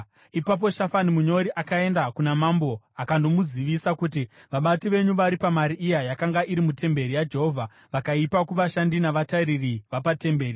Ipapo Shafani munyori akaenda kuna mambo akandomuzivisa kuti: “Vabati venyu varipa mari iya yakanga iri mutemberi yaJehovha vakaipa kuvashandi navatariri vapatemberi.”